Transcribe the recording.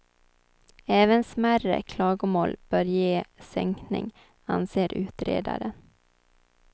Även smärre klagomål bör ge sänkning, anser utredaren.